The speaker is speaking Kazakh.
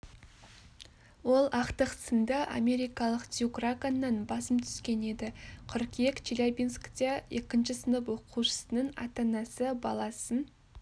ол ақтық сынды америкалық дюк раганнан басым түскен еді қыркүйек челябинскте екінші сынып оқушысының ата-анасы баласын